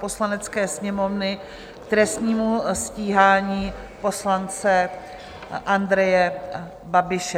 Poslanecké sněmovny k trestnímu stíhání poslance Andreje Babiše